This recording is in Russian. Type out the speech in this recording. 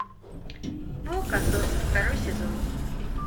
молокососы второй сезон